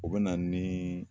O be na nii